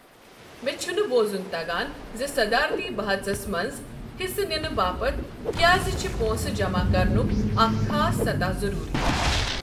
مےٚ چھُنہٕ بوزُن تگان زِ صدارتی بحَژس منٛز حصہٕ نِنہٕ باپت کیٛازِ چھِ پونسہٕ جمع کرنُک اکھ خاص سطح ضروٗری۔